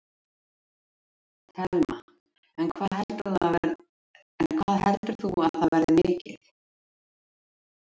Telma: En hvað heldur þú að það verði mikið?